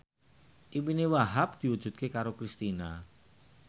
impine Wahhab diwujudke karo Kristina